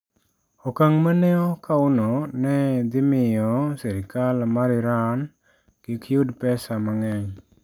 Okang' ma ne okawno ne dhi miyo sirkal mar Iran kik yud pesa mang'eny.